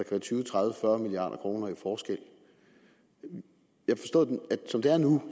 være tyve tredive fyrre milliard kroner i forskel jeg forstod at som det er nu